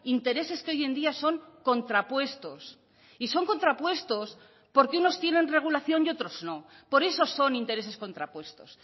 intereses que hoy en día son contrapuestos y son contrapuestos porque unos tienen regulación y otros no por eso son intereses contrapuestos